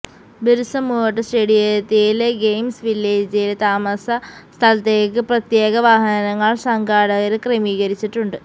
ബിര്സമുണ്ട സ്റ്റേഡിയത്തിലെ ഗെയിംസ് വില്ലേജിലെ താമസ സ്ഥലത്തേക്ക് പ്രത്യേക വാഹനങ്ങള് സംഘാടകര് ക്രമീകരിച്ചിട്ടുണ്ട്